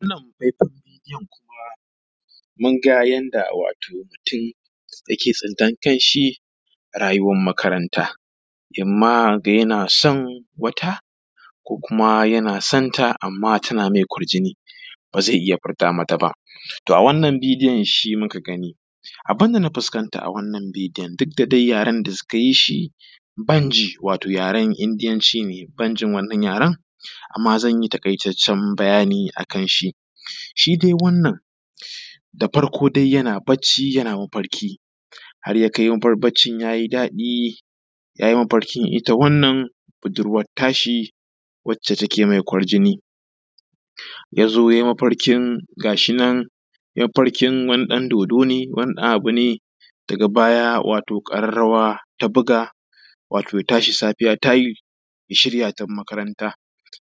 Wannan hoto wanka yanda wato mutum yake tsinta na kanshi wato rayuwan makaranta imam ya ga yana son wata ko kuma yana san ta, amma tana me kwarjini ba ze iya furta mata ba. To, a wannan bidiyon shi muka gani abun da na fuskanta a wannan bidiyon duk da dai yaren da suka yi shi ban ji, wato yaren Indiyanci ne ban jin wannan yaren. Amma, zan yi taƙaitaccen bayani akan shi shi dai wannan da farko yana bacci yana mafarki har ya kai baccin ya yi daɗi, har ya kai ita wannan budurwan tashi wadda take me kwarjini, ya zo ya yi mafarkin gashi nan ya yi mafarkin wani ɗan dodo ne. Wani abu ne wato daga baya ƙararrawa ta buga ya tashi safiya ta yi, ya shirya ya tafi makaranta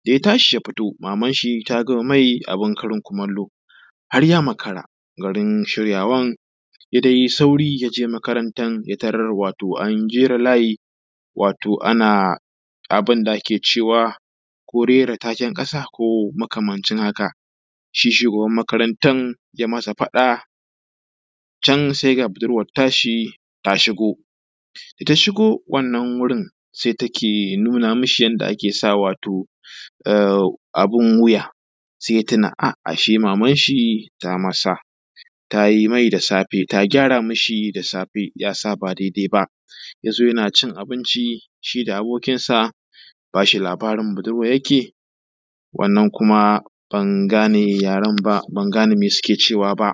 da ya tashi ya fito maman shi ta gama me abun karin kumallo har ya makara garin shirywan, ya dai yi sauri ya je makarantan ya tarar wato an jera layi wato ana abun da ake cewa ko rera taken ƙasa ko makamancin haka. Shi shugaban makarantan ya yi masa faɗa, can se ga buduran ta shi ta shigo, da ta shigo wannan wurin se take nuna mi shi yanda ake sa wato abun wuya, se ya tuna ashe maman shi tama sa ta yi me da safe ta gyara mishi, safe ya sa ba daidai ba, ya zo yana cin abinci shi da abokinsa yake ba shi labarin budurwan yake wannan kuma ban gane yaren ba, ban gane me suke cewa ba.